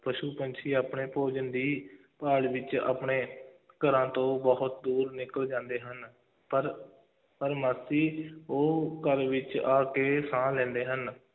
ਪਸ਼ੂ ਪੰਛੀ ਆਪਣੇ ਭੋਜਨ ਦੀ ਭਾਲ ਵਿੱਚ ਆਪਣੇ ਘਰਾਂ ਤੋਂ ਬਹੁਤ ਦੂਰ ਨਿਕਲ ਜਾਂਦੇ ਹਨ, ਪਰ, ਪਰ ਉਹ ਘਰ ਵਿੱਚ ਆ ਕੇ ਸਾਹ ਲੈਂਦੇ ਹਨ,